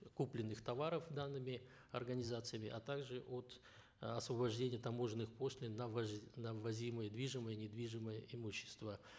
купленных товаров данными организациями а также от освобождения таможенных пошлин на на ввозимое движимое недвижимое имущество